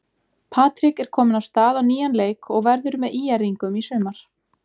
Patrik er kominn af stað á nýjan leik og verður með ÍR-ingum í sumar.